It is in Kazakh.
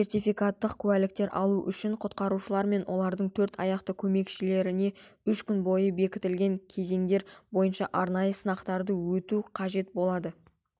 сертификаттық куәліктер алу үшін құтқарушылар мен олардың төрт аяқты көмекшілеріне үш күн бойы бекітілген кезеңдер бойынша арнайы сынақтардан өту қажет болады